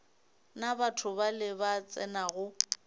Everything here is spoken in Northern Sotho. na batho bale ba tsenago